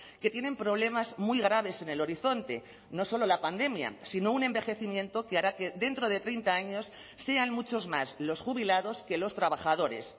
que tienen problemas muy graves en el horizonte no solo la pandemia sino un envejecimiento que hará que dentro de treinta años sean muchos más los jubilados que los trabajadores